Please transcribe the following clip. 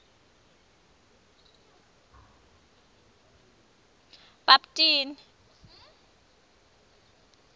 bhabtini